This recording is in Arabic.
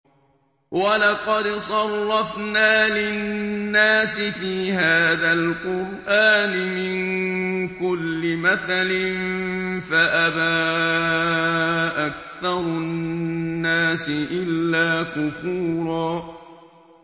وَلَقَدْ صَرَّفْنَا لِلنَّاسِ فِي هَٰذَا الْقُرْآنِ مِن كُلِّ مَثَلٍ فَأَبَىٰ أَكْثَرُ النَّاسِ إِلَّا كُفُورًا